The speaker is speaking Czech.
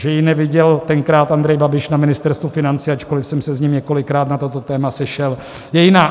Že ji neviděl tenkrát Andrej Babiš na Ministerstvu financí, ačkoli jsem se s ním několikrát na toto téma sešel, je jiná.